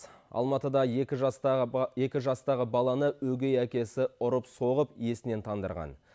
алматыда екі жастағы баланы өгей әкесі ұрып соғып есінен тандырған